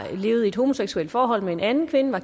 levede i et homoseksuelt forhold med en anden kvinde